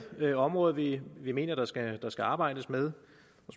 område vi vi mener der skal der skal arbejdes med